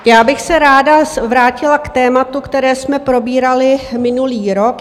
Já bych se ráda vrátila k tématu, které jsme probírali minulý rok.